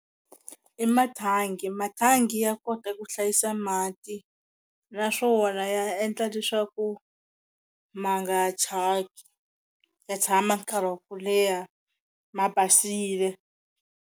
I mathangi mathangi ya kota ku hlayisa mati naswona ya endla leswaku ma nga thyaki ya tshama nkarhi wa ku leha ma basile.